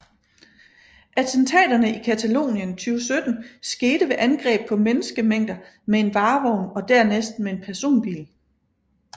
Attentaterne i Catalonien 2017 skete ved angreb på menneskemængder med en varevogn og dernæst med en personbil